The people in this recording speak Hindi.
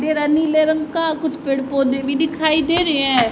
दे रहा नीले रंग का कुछ पेड़ पौधे भी दिखाई दे रहे हैं।